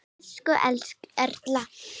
Elsku Erna.